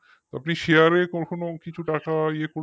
আপনি share এ কখনো কিছু টাকা ইয়ে করেছেন